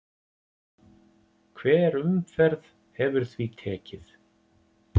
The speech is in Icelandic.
Hver umferð hefur því tekið